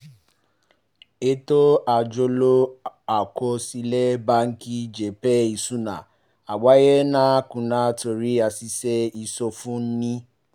ètò àjọlò àkọsílẹ̀ báńkì jẹ́ pé ìsúná àgbáyé náà kùnà torí àṣìṣe ìsọfúnni